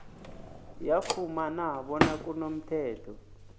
yafumana bona kunomthetho